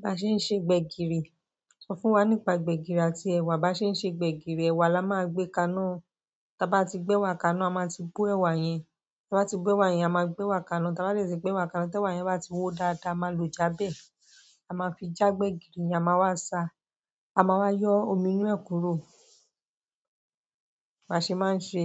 Bí a ṣe ń se gbẹ̀gìrì, sọ fún wa nípa gbẹ̀gìrì àti ẹ̀wà. Bí a ṣe ń ṣe gbẹ̀gìrì, ẹ̀wà la máa gbé kaná. Tí a bá ti gbẹ́ wà kaná, a máa ti bó ẹ̀wà yẹn. Bí a bá ti gó ẹ́wà yẹn, a máa gbé ẹ̀wà kaná. Tí a bá dẹ̀ ti gbẹ́wà kaná, tí ẹ̀wà yẹn bá ti wó dáadáa, a máa lo jábẹ́. A máa fi já gbẹ̀gìrì, a máa wá sa, a máa wá yọ omi inú ẹ̀ kúrò. Bá ṣe máa ń ṣe